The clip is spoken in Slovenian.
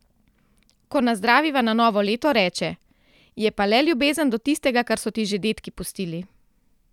Ko nazdraviva na novo leto, reče: 'Je pa le ljubezen do tistega, kar so ti že dedki pustili.